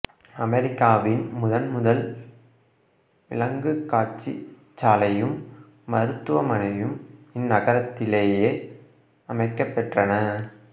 அமெரிக்காவின் முதன்முதல் விலங்குக் காட்சிச்சாலையும் மருத்துவமனையும் இந்நகரத்திலேயே அமைக்கப் பெற்றன